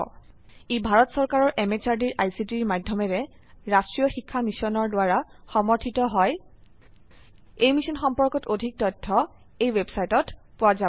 ই ভাৰত চৰকাৰৰ MHRDৰ ICTৰ মাধয়মেৰে ৰাস্ত্ৰীয় শিক্ষা মিছনৰ দ্ৱাৰা সমৰ্থিত হয় এই মিশ্যন সম্পৰ্কত অধিক তথ্য spoken hyphen tutorial dot org slash এনএমইআইচিত হাইফেন ইন্ট্ৰ ৱেবচাইটত পোৱা যাব